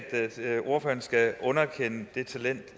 ordføreren skal underkende det talent